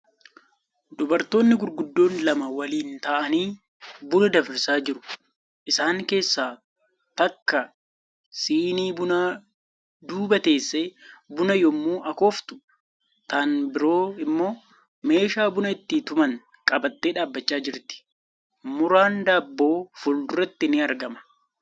Dubartoonni gurguddoon lama waliin ta'anii buna danfisaa jiru. Isaan keessaa takka sinii bunaa duuba teessee buna yemmuu akooftuu tan biroo immoo meeshaa buna itti tuman qabattee dhaabachaa jirti. Muraan daabboo fuulduratti ni argama.